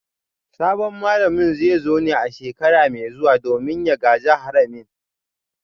Sabon malamin zai zo ne a shekara mai zuwa domin ya gaji haramin